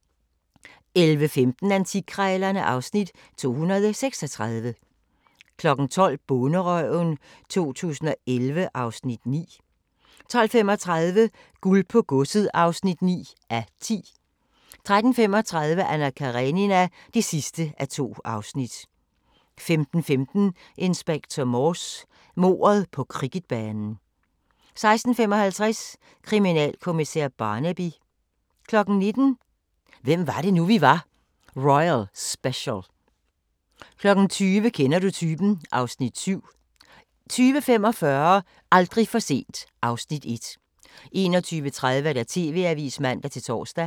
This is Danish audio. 11:15: Antikkrejlerne (Afs. 236) 12:00: Bonderøven 2011 (Afs. 9) 12:35: Guld på Godset (9:10) 13:35: Anna Karenina (2:2) 15:15: Inspector Morse: Mordet på cricketbanen 16:55: Kriminalkommissær Barnaby 19:00: Hvem var det nu, vi var - royal special 20:00: Kender du typen? (Afs. 7) 20:45: Aldrig for sent (Afs. 1) 21:30: TV-avisen (man-tor)